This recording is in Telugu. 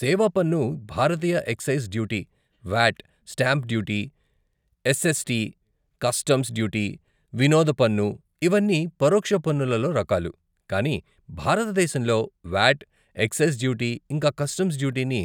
సేవా పన్ను, భారతీయ excise duty, VAT, stamp duty, SST, customs duty, వినోద పన్ను, ఇవన్నీ పరోక్ష పన్నులలో రకాలు, కానీ భారతదేశంలో వ్యాట్, ఎక్సైస్ డ్యూటీ ఇంకా కస్టమ్స్ డ్యూటీని